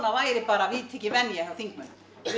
væri bara viðtekin venja hjá þingmönnum